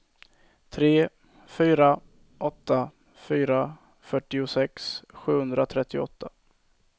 tre fyra åtta fyra fyrtiosex sjuhundratrettioåtta